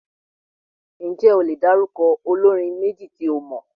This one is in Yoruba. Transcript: Ǹjẹ́ o lè dárúkọ olórin méjì tí ó mọ?